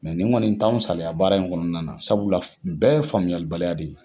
nin kɔni t'an saliya baara in kɔnɔna na sabula bɛɛ ye faamuyalibaliya de ye.